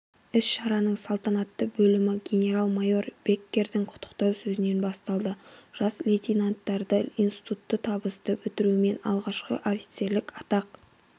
іс-шараның салтанатты бөлімі генерал-майор беккердің құттықтау сөзінен басталды жас лейтенанттарды институтты табысты бітірулерімен алғашқы офицерлік атақ